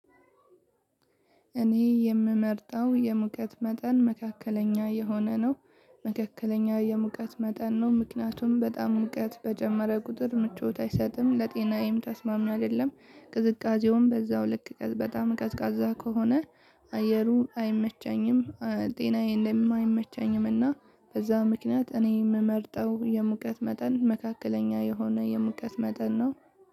እኔ የምመርጠው የሙቀት መጠን መካከለኛ የሆነ ነው። መካከለኛ የሙቀት መጠን ነው ምክንያቱም በጣም ሙቀት በጨመረ ቁጥር ምቾት አይሰጥም ለጤናዬም ተስማሚና አይደለም። ቅዝቃዜውም በዛው ልክ በጣም ቀዝቃዛ ከሆነ አየሩ አይመቸኝም ጤናዬንም አይመቸኝም። እና በዛ ምክንያት እኔ የምመርጠው የሙቀት መጠን መካከለኛ የሆነ የምቀት መጠን ነው።